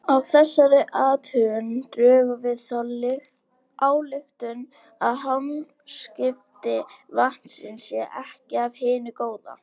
Af þessari athugun drögum við þá ályktun að hamskipti vatnsins séu ekki af hinu góða.